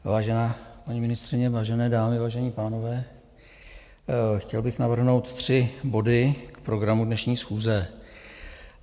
Vážená paní ministryně, vážené dámy, vážení pánové, chtěl bych navrhnout tři body k programu dnešní schůze.